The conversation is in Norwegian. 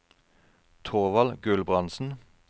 Thorvald Gulbrandsen